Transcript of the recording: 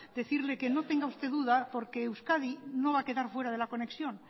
decirle que no tenga usted duda porque euskadi no va a quedar fuera de la conexión